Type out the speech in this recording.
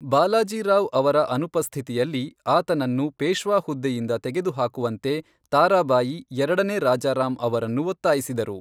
ಬಾಲಾಜಿ ರಾವ್ ಅವರ ಅನುಪಸ್ಥಿತಿಯಲ್ಲಿ, ಆತನನ್ನು ಪೇಶ್ವಾ ಹುದ್ದೆಯಿಂದ ತೆಗೆದುಹಾಕುವಂತೆ ತಾರಾಬಾಯಿ ಎರಡನೇ ರಾಜಾರಾಮ್ ಅವರನ್ನು ಒತ್ತಾಯಿಸಿದರು.